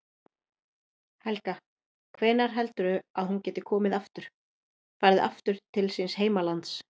Helga: Hvenær heldurðu að hún geti komið aftur, farið aftur til síns heimalands?